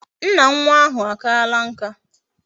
Nna nwa ahu akaala nka